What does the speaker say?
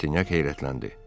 Roçinyak heyrətləndi.